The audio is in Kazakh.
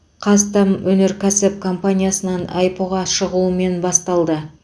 қазтамөнеркәсіп компаниясынаң іро ға шығуымен басталды